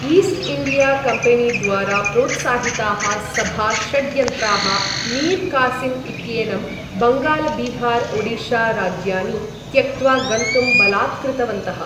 East India कम्पेनीद्वारा प्रोत्साहिताः सभा षड्यंत्राः मीर् कासिम् इत्येनं, बङ्गाल बिहार ओडिशा राज्यानि त्यक्त्वा गन्तुम् बलात्कृतवन्तः।